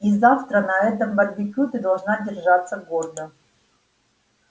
и завтра на этом барбекю ты должна держаться гордо